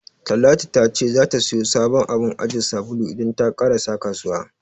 Talatu ta ce zata siyo sabon abun ajiye sabulu idan ta ƙarasa kasuwa.